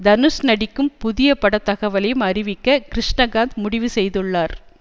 தனுஷ் நடிக்கும் புதிய பட தகவலையும் அறிவிக்க கிருஷ்ணகாந்த் முடிவு செய்துள்ளார்